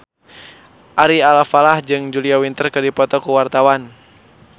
Ari Alfalah jeung Julia Winter keur dipoto ku wartawan